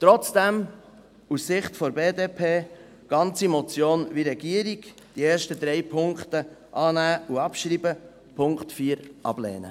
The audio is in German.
Trotzdem, aus Sicht der BDP: die ganze Motion wie Regierung – die ersten drei Punkte annehmen und abschreiben, den Punkt 4 ablehnen.